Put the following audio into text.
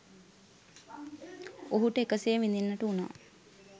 ඔහුට එකසේ විඳින්නට වුණා.